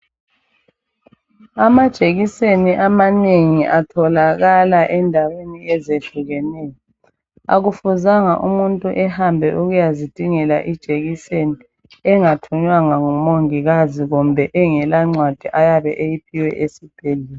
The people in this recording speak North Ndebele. Amajekiseni amanengi atholakala endaweni ezehlukeneyo, akufuzanga umuntu ehambe esiyazidingela ijekiseni engathunywanga ngumongikazi kumbe engelancwadi ayabe eyiphiwe esibhedlela.